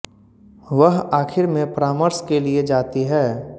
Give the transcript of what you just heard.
वह आखिर में परामर्श के लिए जाती है